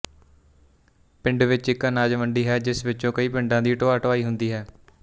ਪਿੰਡ ਵਿੱਚ ਇੱਕ ਅਨਾਜਮੰਡੀ ਹੈ ਜਿਸ ਵਿੱਚੋਂ ਕਈ ਪਿੰਡਾਂ ਦੀ ਢੋਆਢੁਆਈ ਹੁੰਦੀ ਹੈ